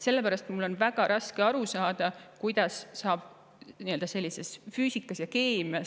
Sellepärast on mul väga raske aru saada, kuidas saab olla küsimus füüsikas ja keemias.